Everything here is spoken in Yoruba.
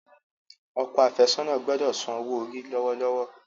Okọ afesona gbódò ń sàn owo-ori lọwọlọwọ.